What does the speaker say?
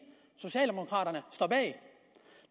socialdemokraterne står bag